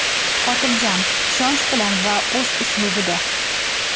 Xotirjam, ishonch bilan va o‘z uslubida.